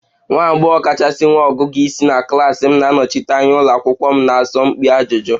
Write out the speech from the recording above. Nwa agbọghọ kachasị nwee ọgụgụ isi na klas m na-anọchite anya ụlọ akwụkwọ m na asọmpi ajụjụ